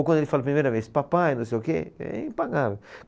Ou quando ele fala a primeira vez, papai, não sei o quê, é impagável.